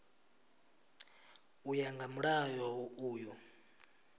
u ya nga mulayo uyu